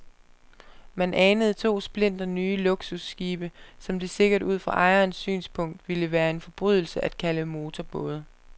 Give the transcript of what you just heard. Man anede to splinternye luksusskibe, som det sikkert ud fra ejernes synspunkt ville være en forbrydelse at kalde motorbåde.